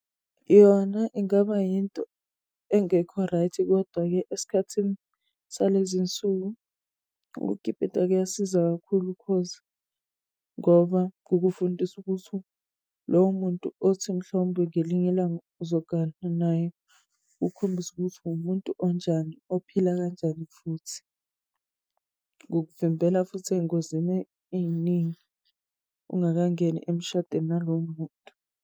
Yona ingaba yinto engekho right, kodwa-ke eskhathini salezi y'nsuku ukukipita kuyasiza kakhulu cause ngoba kukufundisa ukuthi lowo muntu othi mhlowumbe ngelinye ilanga uzogana naye kukukhombise ukuthi wumuntu onjani, ophila kanjani futhi. Kukuvimbela futhi ey'ngozini ey'ningi ungakangeni emshadweni nalowo muntu.